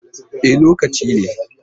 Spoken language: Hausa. E, lokacin ne?